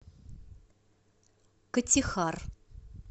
катихар